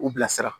U bilasira